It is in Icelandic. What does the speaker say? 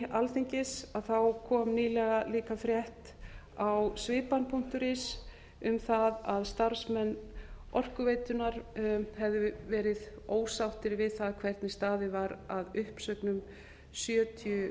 utan veggi alþingis kom nýlega líka frétt á svipan punktur is um það að starfsmenn orkuveitunnar hefðu verið ósáttir við það hvernig staðið var að uppsögnum sjötíu